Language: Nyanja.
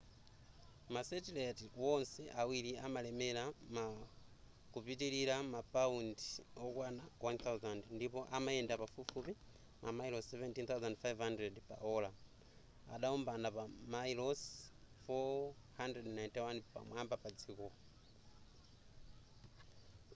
ma satellite wonse awiri amalemera ma kupitilira paundi wokwana 1000 ndipo amayenda pafupifupi mamayilosi 17,500 pa ola adaombana pa mamayilosi 491 pamwamba pa dziko